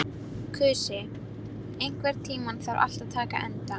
Kusi, einhvern tímann þarf allt að taka enda.